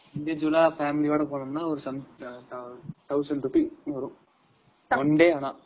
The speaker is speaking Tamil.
Individual ஆஹ் family ஓட போனோம்னா ஒரு thousand rupee வரும் one day ஆனா